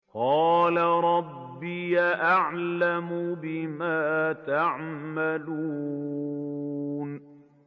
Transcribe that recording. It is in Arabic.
قَالَ رَبِّي أَعْلَمُ بِمَا تَعْمَلُونَ